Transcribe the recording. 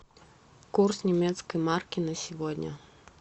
курс немецкой марки на сегодня